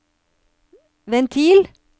ventil